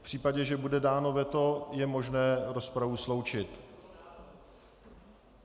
V případě, že bude dáno veto, je možné rozpravu sloučit.